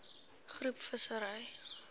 groep visserye